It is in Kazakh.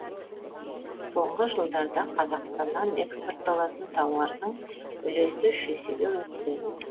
соңғы жылдарда қазақстаннан экспортталатын тауардырдың үлесі үш есеге өсті